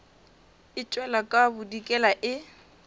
e tšwela ka bodikela e